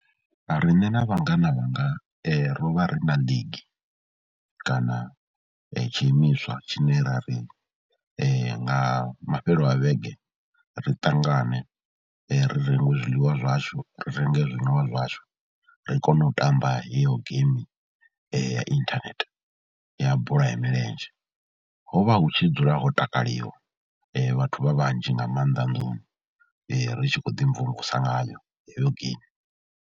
Rine na vhangana vhanga ro vha ri na league kana tshiimiswa tshine ra ri nga mafhelo a vhege ri ṱangane ri renge zwiḽiwa zwashu, ri renge zwinwiwa zwashu, ri kone u tamba heyo geimi ya inthanethe ya bola ya milenzhe. Ho vha hu tshi dzula ho takaliwa vhathu vha vhanzhi nga maanḓa nnḓuni ri tshi khou ḓimvumvusa ngayo heyo geimi.